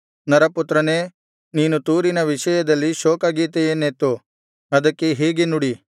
ನರಪುತ್ರನೇ ನೀನು ತೂರಿನ ವಿಷಯದಲ್ಲಿ ಶೋಕ ಗೀತೆಯನ್ನೆತ್ತು ಅದಕ್ಕೆ ಹೀಗೆ ನುಡಿ